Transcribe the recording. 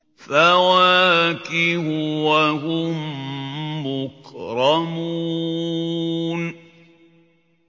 فَوَاكِهُ ۖ وَهُم مُّكْرَمُونَ